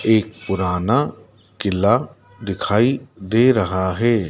एक पुराना किला दिखाई दे रहा है।